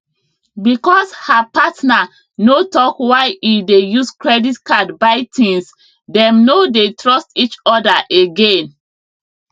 because her partner no talk why e dey use credit card buy things dem no dey trust each other again